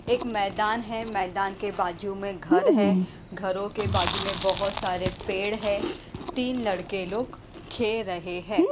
एक मैदान है मैदान के बाजू मे घर है घरो के बाजू में बहोत सारे पेड़ है तीन लड़के लोग खेल रहे है।